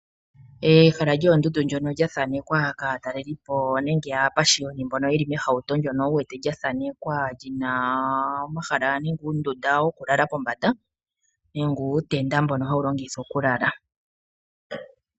Ehala lyoondundu ndjono lya thaanekwa kaatalelipo nenge aapashiyoni mbono yeli mehauto ndono wu wete lyathaanekwa lyina omahala nenge uundunda nenge uutenda wokulala kombanda mbono hawu longithiwa okulala.